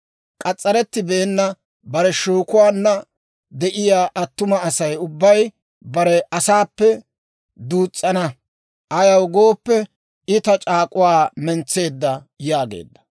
K'as's'arettibeenna, bare shookuwaanna de'iyaa attuma Asay ubbay bare asaappe duus's'ana; ayaw gooppe, I ta c'aak'uwaa mentseedda» yaageedda.